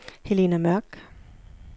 Helena Mørk